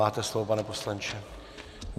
Máte slovo, pane poslanče.